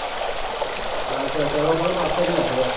আচ্ছা আচ্ছা, ৰহ আৰু পাঁচ চেকেণ্ড আছে ৰহ।